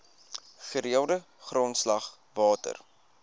gereelde grondslag water